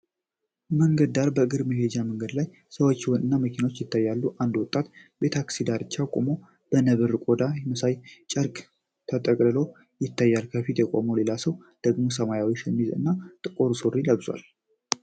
በመንገድ ዳር በእግረኞች መሄጃ መንገድ ላይ ሰዎች እና መኪናዎች ይታያሉ። አንድ ወጣት በታክሲ ዳርቻ ቆሞ በነብር ቆዳ መሳይ ጨርቅ ተጠቅልሎ ይታያል። በፊቱ የቆመው ሌላ ሰው ደግሞ ሰማያዊ ሸሚዝ እና ጥቁር ሱሪ ለብሷል።